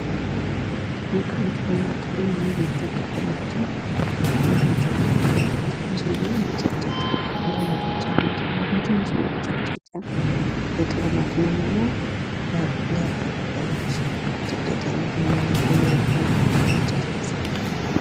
ቅመማ ቅመም ወይም እርጥብ ቅጠሎችን የሚጨቀጭቁበት ትንሽዬ መጨቅጨቂያ። እንደ ሙቀጫ አይነት ሆና ግን ትንሽዬ መጨቅጨቂያ ለቅመማ ቅመም እና ለእርጥብ ቅጠሎች መጨቅጨቂያነት የሚያገለግል ከእንጨት የተሰራ።